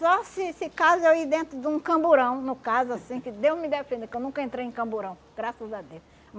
Só se se caso eu ir dentro de um camburão, no caso, assim, que Deus me defenda, que eu nunca entrei em camburão, graças a Deus.